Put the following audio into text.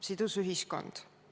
Sidus ühiskond.